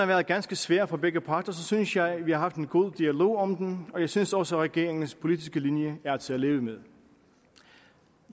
været ganske svært for begge parter så synes jeg at vi har haft en god dialog om den og jeg synes også at regeringens politiske linje er til at leve med